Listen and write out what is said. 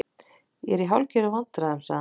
Ég er í hálfgerðum vandræðum- sagði hann.